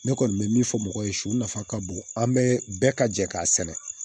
Ne kɔni bɛ min fɔ mɔgɔw ye su nafa ka bon an bɛɛ ka jɛ k'a sɛnɛ